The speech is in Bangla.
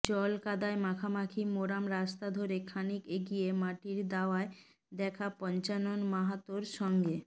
জলকাদায় মাখামাখি মোরাম রাস্তা ধরে খানিক এগিয়ে মাটির দাওয়ায় দেখা পঞ্চানন মাহাতোর সঙ্গে